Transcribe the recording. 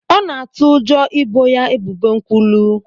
Ọ na-atụ ụjọ ị boo ya ebubo nkwulu.